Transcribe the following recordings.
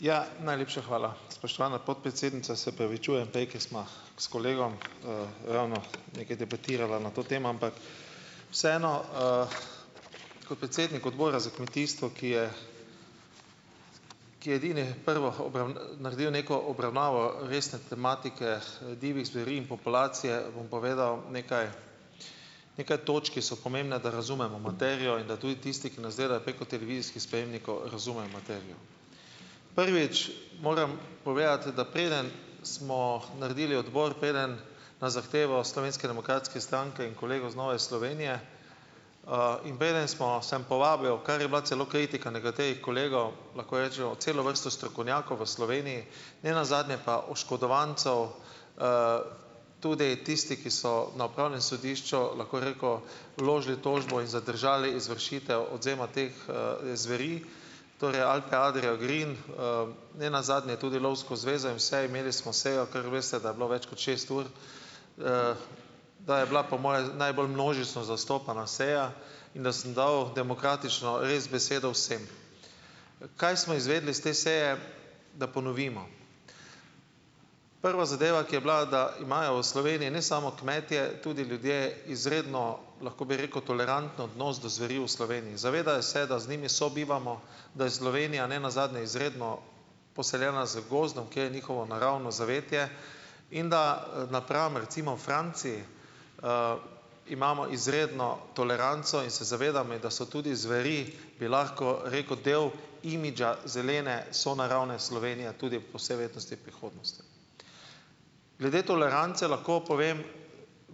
Ja, najlepša hvala. Spoštovana podpredsednica, se opravičujem, prej ko sva s kolegom, ravno nekaj debatirala na to temo, ampak vseeno, kot predsednik Odbora za kmetijstvo, ki je ki je edini prvo naredil neko obravnavo resne tematike, divjih zveri in populacije, bom povedal nekaj nekaj točk, ki so pomembne, da razumemo materijo in da tudi tisti, ki nas gledajo preko televizijskih sprejemnikov razumejo materijo. Prvič, moram povedati, da preden smo naredili odbor preden na zahtevo Slovenske demokratske stranke in kolegov z Nove Slovenije, in preden smo samo povabilo, kar je bila celo kritika nekaterih kolegov, lahko rečo celo vrsto strokovnjakov v Sloveniji, ne nazadnje pa oškodovancev, tudi tisti, ki so na upravnem sodišču, lahko rekel, vložili tožbo in zadržali izvršitev odvzema teh, zveri. Torej Alpe Adria Green, nenazadnje tudi Lovsko zvezo in vse, imeli smo sejo, ker veste, da je bilo več kot šest ur. Da je bila po moje najbolj množično zastopana seja in da sem dal demokratično res besedo vsem. Kaj smo izvedeli iz te seje? Da ponovimo. Prva zadeva, ki je bila, da imajo v Sloveniji ne samo kmetje tudi ljudje izredno, lahko bi rekel, toleranten odnos do zveri v Sloveniji. Zavedajo se, da z njimi sobivamo, da je Slovenija ne nazadnje izredno poseljena z gozdom, kjer je njihovo naravno zavetje, in da, napram recimo v Franciji, imamo izredno toleranco in se zavedamo, in da so tudi zveri, bi lahko rekel, delo imidža zelene sonaravne Slovenije, tudi po vsej verjetnosti v prihodnosti. Glede tolerance lahko povem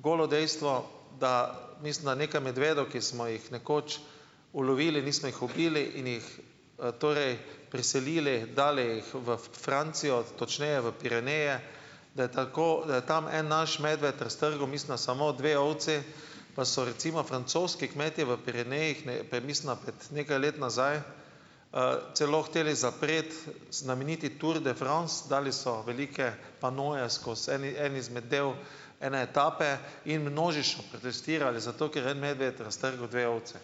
golo dejstvo, da mislim, da nekaj medvedov, ki smo jih nekoč ulovili, nismo jih ubili in jih, torej preselili, dali jih v Francijo, točneje v Pireneje, da je tako, da je tam en naš medved raztrgal, mislim, da samo dve ovci. Pa so recimo francoski kmetje v Pirenejih, nekaj let nazaj, celo hoteli zapreti znameniti Tour de France. Dali so velike panoje skozi eni en izmed del ene etape in množično protestirali, zato ker je en medved raztrgal dve ovci.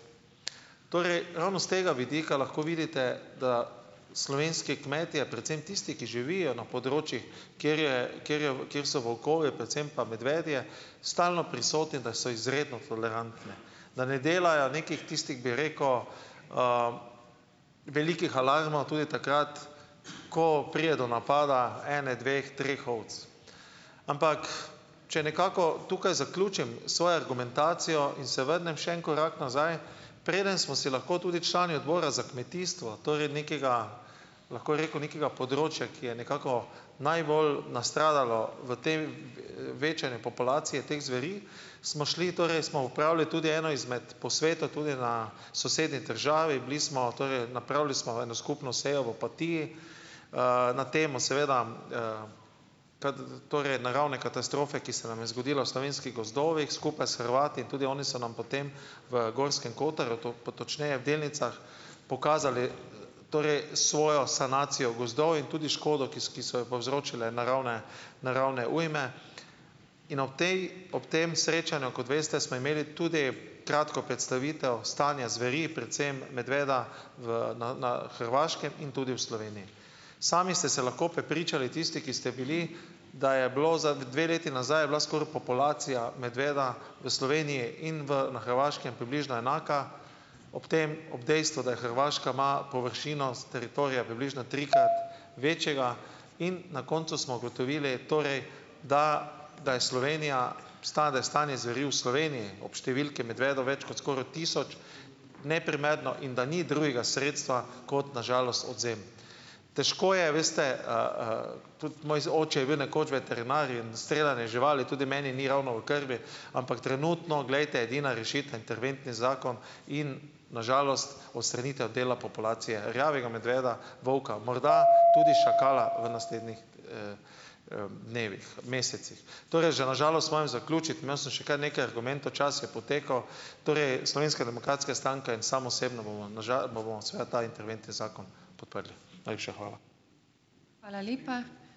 Torej ravno s tega vidika lahko vidite, da slovenski kmetje, predvsem tisti, ki živijo na področjih, kjer je, kjer je, kjer so volkovi predvsem pa medvedje stalno prisotni, da so izredno tolerantni. Da ne delajo nekih tistih, bi rekel, velikih alarmov tudi takrat, ko pride do napada ene, dveh, treh ovac. Ampak če nekako tukaj zaključim sojo argumentacijo in se vrnem še en korak nazaj. Preden smo si lahko tudi člani Odbora za kmetijstvo, torej nekega, lahko rekel, nekega področja, ki je nekako najbolj nastradalo v večanju populacije teh zveri, smo šli, torej smo opravili tudi eno izmed posvetov tudi na sosednji državi, bili smo, torej napravili smo eno skupno sejo v Opatiji, na temo seveda, torej naravne katastrofe, ki se nam je zgodila v slovenskih gozdovih skupaj s Hrvati. In tudi oni so nam po tem v Gorskem kotarju, točneje v Delnicah, pokazali torej svojo sanacijo gozdov in tudi škodo, ki ki so jo povzročile naravne naravne ujme. In ob tej ob tem srečanju, kot veste, smo imeli tudi kratko predstavitev stanja zveri, predvsem medveda v na na Hrvaškem in tudi v Sloveniji. Sami ste se lahko prepričali, tisti, ki ste bili, da je bilo za dve leti nazaj je bila skoraj populacija medveda v Sloveniji in v na Hrvaškem približno enaka, ob tem ob dejstvu, da je Hrvaška ima površino s teritorija približno trikrat večjega, in na koncu smo ugotovili, torej da da je Slovenija, stanje zveri v Sloveniji ob številki medvedov več kot skoraj tisoč neprimerno in da ni drugega sredstva kot na žalost odvzem. Težko je veste, tudi moj oče je bil nekoč veterinar in streljanje živali tudi meni ni ravno v krvi, ampak trenutno, glejte, edina rešitev interventni zakon in na žalost odstranitev dela populacije rjavega medveda, volka, morda tudi šakala v naslednjih dnevih, mesecih. Torej že na žalost moram zaključiti, imel sem še kar nekaj argumentov, čas je potekel. Torej, Slovenska demokratska stranka in sam osebno, bomo na bomo seveda ta interventni zakon podprli. Najlepša hvala.